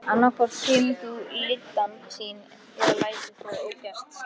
Annað hvort kemur þú lyddan þín eða lætur það ógert.